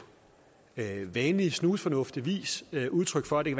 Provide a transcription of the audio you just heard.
vanlig snusfornuftig vis udtryk for at det